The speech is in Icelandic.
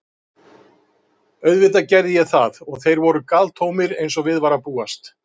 Auðvitað gerði ég það og þeir voru galtómir, eins og við var að búast.